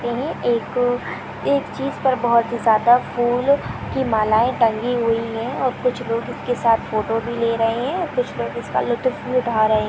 एक अ एक चीज पर बहोत ही ज्यादा फूल की मलाये टंगी हुई हैं और कुछ लोग उसके साथ फोटो भी ले रहे है कुछ लोग उसका लुतुफ भी उठा रहे हैं ।